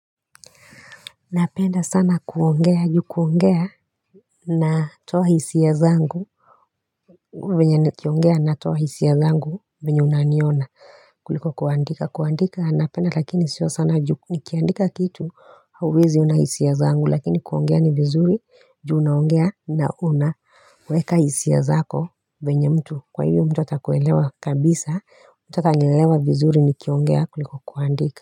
Napenda sana kuongea juu kuongea na toa hisia zangu venye nikiongea natoa hisia zangu venye unaniona kuliko kuandika kuandika napenda lakini sio sana juu nikiandika kitu hauwezi ona hisia zangu lakini kuongea ni vizuri juu unaongea na una weka hisia zako venye mtu. Kwa hivo mtu atakuelewa kabisa, mtu atanielewa vizuri nikiongea kuliko kuandika.